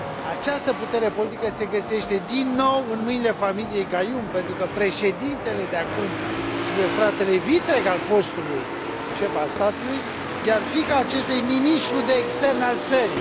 Această putere politică se găsește din nou în mâinile familiei Gayoom, pentru că președintele de acum e fratele vitreg al fostului șef al statului, iar fiica acestuia e ministru de externe al țării.